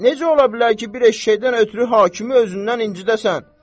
Necə ola bilər ki, bir eşşəkdən ötrü hakimi özündən incidəsən?